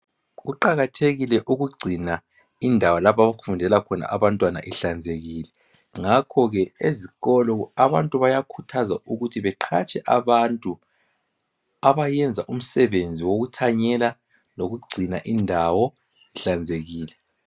Kuqakathekile ukugcina indawo lapho okufundela khona abantwana ihlanzekile. Ngakhoke ezikolo abantu bayakhuthazwa ukuthi beqhatshe abantu abayenza umsebenzi wokuthanyela lokugcina indawo ihlanzekile.